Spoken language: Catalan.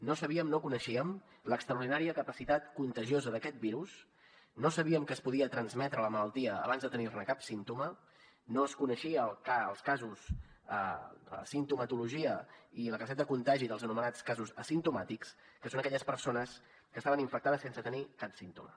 no sabíem no coneixíem l’extraordinària capacitat contagiosa d’aquest virus no sabíem que es podia transmetre la malaltia abans de tenir ne cap símptoma no es coneixien la simptomatologia ni la capacitat de contagi dels anomenats casos asimptomàtics que són aquelles persones que estaven infectades sense tenir ne cap símptoma